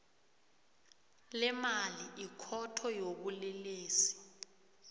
lemali ikhotho yobulelesi